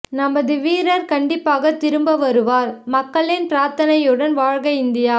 நமது வீரர் கண்டிப்பாக திருப்ப வருவார் மக்களின் பிரார்த்தனையுடன் வாழ்க இந்தியா